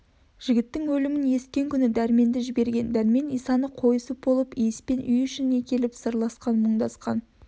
жігіттің елімін есіткен күні дәрменді жіберген дәрмен исаны қойысып болып иіспен үй ішімен келіп сырласып мұндасқан